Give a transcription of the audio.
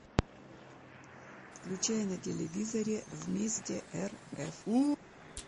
включай на телевизоре вместе рф